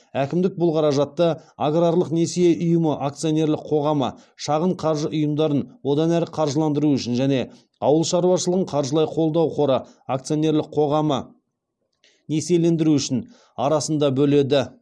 әкімдік бұл қаражатты аграрлық несие ұйымы акционерлік қоғамы және ауыл шаруашылығын қаржылай қолдау қоры акционерлік қоғамы арасында бөледі